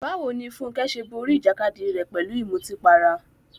Báwo ni Funke ṣe borí ìjàkadì rẹ̀ pẹ̀lú ìmutípara?